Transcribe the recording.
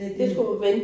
Det det